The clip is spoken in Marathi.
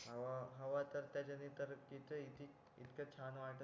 हवा हवा तर त्याचा इतका छान वाटत